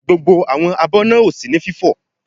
Gbogbo abọ́ náà ò sí ní fífò.